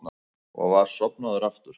Og var sofnaður aftur.